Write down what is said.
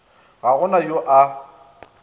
ga go na yo a